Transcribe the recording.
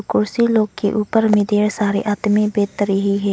कुर्सी लोग के ऊपर में ढेर सारे आदमी बैठ रहे हैं।